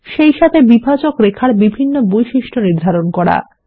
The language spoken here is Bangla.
সেইসাথে বিভাজক রেখার বিভিন্ন বৈশিষ্ট্য নির্ধারণ করুন